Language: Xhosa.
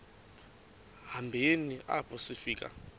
hambeni apho sifika